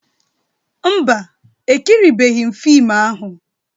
Mba, ekiribeghị m fiim ahụ.